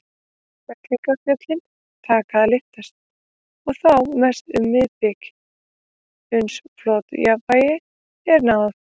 Fellingafjöllin taka að lyftast, og þá mest um miðbikið, uns flotjafnvægi er náð.